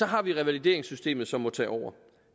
har vi revalideringssystemet som må tage over